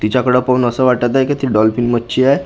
तिच्याकडे पाहून असं वाटत आहे की ती डॉल्फिन मच्छी आहे ती--